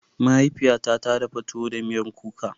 Mahaifiyata ta dafa tuwo da miyar kuka.